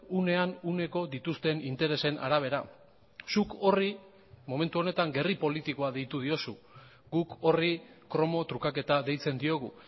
unean uneko dituzten interesen arabera zuk horri momentu honetan gerri politikoa deitu diozu guk horri kromo trukaketa deitzen diogu